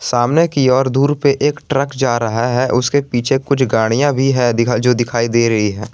सामने की ओर दूर पे एक ट्रक जा रहा है उसके पीछे कुछ गाड़िया भी है जो दिखाई दे रही है।